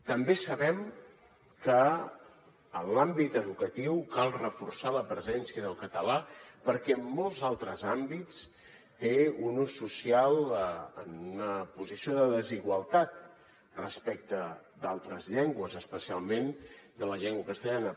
també sabem que en l’àmbit educatiu cal reforçar la presència del català perquè en molts altres àmbits té un ús social en una posició de desigualtat respecte d’altres llengües especialment de la llengua castellana